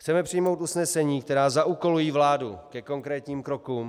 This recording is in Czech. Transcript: Chceme přijmout usnesení, která zaúkolují vládu ke konkrétním krokům.